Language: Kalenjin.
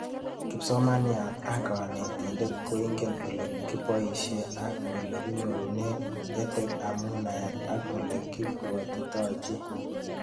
Kipsomaniat ak kanetindet koingen ole kipoishe ak ole kinyorune EdTech amu naet ak ole ipwatitoi pik